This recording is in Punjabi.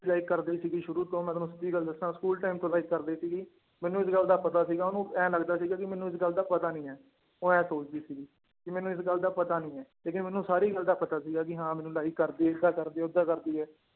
Like ਕਰਦੀ ਸੀਗੀ ਸ਼ੁਰੂ ਤੋਂ ਮੈਂ ਤੁਹਾਨੂੰ ਸਿੱਧੀ ਗੱਲ ਦੱਸਾਂ ਸਕੂਲ time ਤੋਂ like ਕਰਦੀ ਸੀਗੀ ਮੈਨੂੰ ਇਸ ਗੱਲ ਦਾ ਪਤਾ ਸੀਗਾ, ਉਹਨੂੰ ਇਉਂ ਲੱਗਦਾ ਸੀਗਾ ਕਿ ਮੈਨੂੰ ਇਸ ਗੱਲ ਦਾ ਪਤਾ ਨੀ ਹੈ ਉਹ ਇਹ ਸੋਚਦੀ ਸੀਗੀ ਕਿ ਮੈਨੂੰ ਇਸ ਗੱਲ ਦਾ ਪਤਾ ਨੀ ਹੈ ਲੇਕਿੰਨ ਮੈਨੂੰ ਸਾਰੀ ਗੱਲ ਦਾ ਪਤਾ ਸੀਗਾ ਕਿ ਹਾਂ ਮੈਨੂੰ like ਕਰਦੀ ਏਦਾਂ ਕਰਦੀ ਓਦਾਂ ਕਰਦੀ ਹੈ